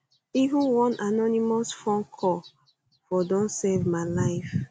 even one anonymous phone call um for don save my life